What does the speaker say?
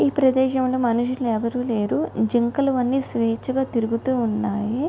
ఈ ప్రదేశం లో మనుషులు ఎవరు లేరు.జింకలు అన్ని స్వేచ్ఛగా తిరుగుతున్నాయి.